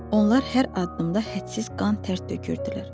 Onlar hər addımda hədsiz qan-tər tökürdülər.